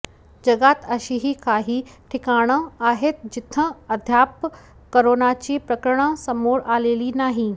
जगात अशीही काही ठिकाणं आहेत जिथं अद्याप कोरोनाची प्रकऱणं समोर आलेली नाही